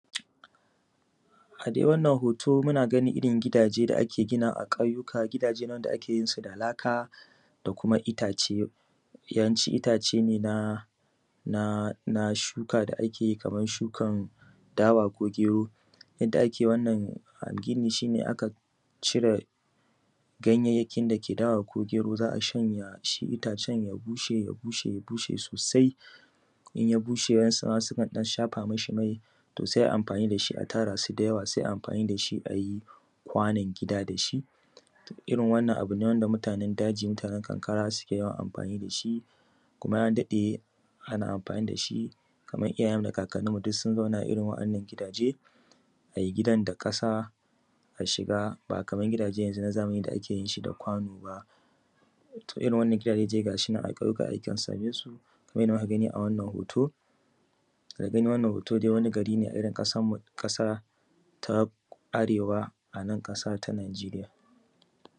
A dai wannan hoto muna ganin irin gidajen da ake ginawa a ƙauyuka gidan da ake yinsu da laka da kuma itace. Yawanci itace na shuka da ake yi na dawa ko gero, yadda ake yi wannan gini shi ne, akan cire ganyayyaki da ke dawa ko gero yadda itacen ya bushe sosai sukan ɗan shafa masa mai to sai ai amfanin da shi a tara su da yawa sai a yi amfani da shi a yi kwanon gida da shi. Irin wannan abu ne wanda mutanen daji mutanen karkara suke yawan amfani da shi kuma ya daɗe kamar iyayenmu da kakanninmu du sun zauna irin waɗannan gidaje, a yi gidan da ƙasa shiga ba kamar gidajen yanzu na zamani da ake yin shi da kwano ba. To irin waɗannan gidaje a ƙauyuka akan same su kamar yadda muka gani a wannan hoto. Daga ganin wannan hoto wani garin ne a irin ƙasarmu ƙasa ta Arewa nan ƙasa ta Nigeria.